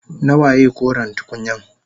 Nawaye koren tukunyan?